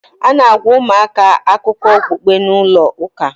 A na-agwa ụmụaka akụkọ okpukpe n'ụlọ ụka.